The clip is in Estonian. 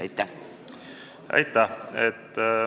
Aitäh!